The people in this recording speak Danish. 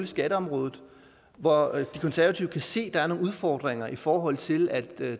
skatteområdet hvor de konservative kan se at der er nogle udfordringer i forhold til at